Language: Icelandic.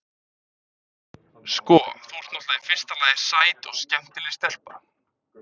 Sko. þú ert náttúrlega í fyrsta lagi sæt og skemmtileg stelpa.